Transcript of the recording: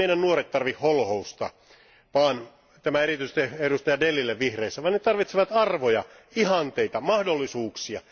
Eivät meidän nuoret tarvitse holhousta tämä erityisesti edustaja Dellille vihreissä vaan he tarvitsevat arvoja, ihanteita, mahdollisuuksia.